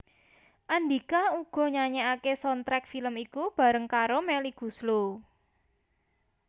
Andhika uga nyanyèkaké soundtrack film iku bareng karo Melly Goeslaw